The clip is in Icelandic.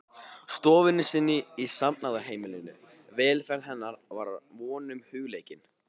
stofunni sinni í safnaðarheimilinu, velferð hennar var honum hugleikin.